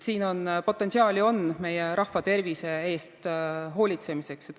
Potentsiaali on meie rahva tervise eest hoolitsemises.